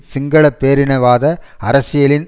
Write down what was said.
சிங்கள பேரினவாத அரசியலின்